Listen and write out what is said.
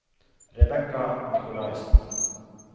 Rebekka Nicolaysen